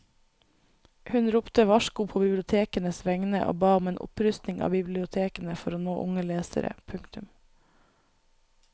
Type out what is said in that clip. Hun ropte varsko på bibliotekenes vegne og ba om en opprustning av bibliotekene for å nå unge lesere. punktum